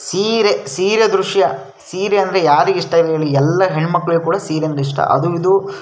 ಸೀರೆ ಸೀರೆ ದ್ರಶ್ಯ ಸೀರೆ ಅಂದ್ರೆ ಯಾರಿಗೆ ಇಷ್ಟ ಇಲ್ಲ ಹೇಳಿ ಎಲ್ಲ ಹೆಣ್ ಮಕ್ಕಳಿಗೂ ಕೂಡ ಸೀರೆ ಅಂದ್ರೆ ಇಷ್ಟ. ಅದು ಇದು --